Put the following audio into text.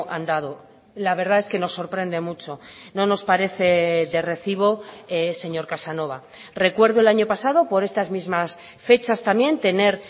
andado la verdad es que nos sorprende mucho no nos parece de recibo señor casanova recuerdo el año pasado por estas mismas fechas también tener